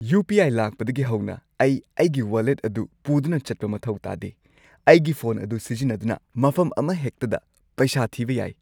U. P. I. ꯂꯥꯛꯄꯗꯒꯤ ꯍꯧꯅ ꯑꯩ ꯑꯩꯒꯤ ꯋꯥꯂꯦꯠ ꯑꯗꯨ ꯄꯨꯗꯨꯅ ꯆꯠꯄ ꯃꯊꯧ ꯇꯥꯗꯦ꯫ ꯑꯩꯒꯤ ꯐꯣꯟ ꯑꯗꯨ ꯁꯤꯖꯤꯟꯅꯗꯨꯅ ꯃꯐꯝ ꯑꯃꯍꯦꯛꯇꯗ ꯄꯩꯁꯥ ꯊꯤꯕ ꯌꯥꯏ꯫